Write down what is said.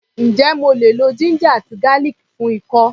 Ǹjé mo lè lo ginger àti garlic fún ikọ́?